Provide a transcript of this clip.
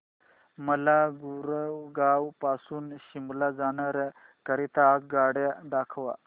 मला गुरगाव पासून शिमला जाण्या करीता आगगाड्या दाखवा